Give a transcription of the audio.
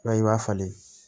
I b'a ye i b'a falen